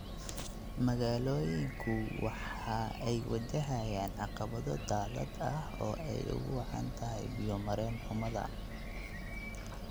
Magaalooyinku waxa ay wajahayaan caqabado daadad ah oo ay ugu wacan tahay biyo-mareen-xumada.